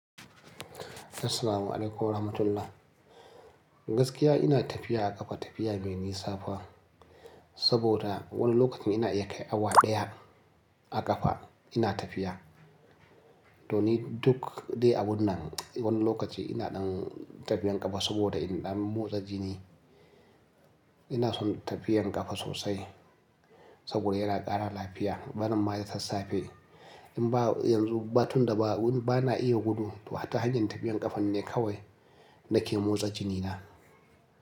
Assalamualaikum warahmatullah. Gaskiya ina tafiya a ƙafa tafiya mai nisa fa. Saboda wani lokacin ina iya kai awa ɗaya a ƙafa ina tafiya. To ni duk dai abun nan wani lokaci ina ɗan tafiyan ƙafa saboda ina ɗan motsa jini. Ina son tafiyan ƙafa sosai saboda yana ƙara lafiya, barin ma ta tssafe. In ba yanzu ba tun da ba, bana iya gudu, to hatta hanyar tafiyan ƙafa ne kawai da ke motsa jinina.